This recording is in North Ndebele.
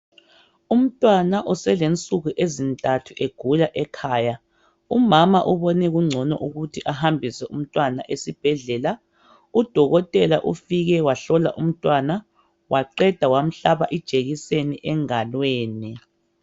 Umntwana oselensuku ezintathu egula ekhaya. Umama ubone kungcono ukuthi ahambise umntwana esibhedlela. Udokotela ufike wahlola umntwana. Waqeda, wamhlaba ijekiseni engalweni.